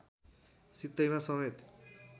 सित्तैमा समेत